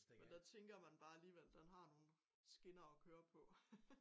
Men der tænker man bare alligevel den har nogen skinner at køre på